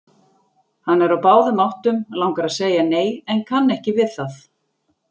Hann er á báðum áttum, langar að segja nei en kann ekki við það.